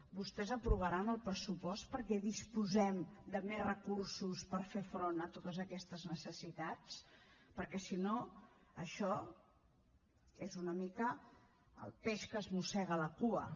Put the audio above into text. vostès aprovaran el pressupost perquè disposem de més recursos per fer front a totes aquestes necessitats perquè si no això és una mica el peix que es mossega la cua